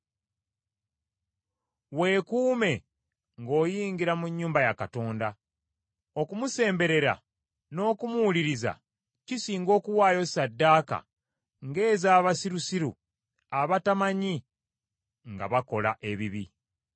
Weekuume ng’oyingira mu nnyumba ya Katonda; okumusemberera n’okumuwuliriza, kisinga okuwaayo ssaddaaka ng’ez’abasirusiru abatamanyi nga bakola ebibi.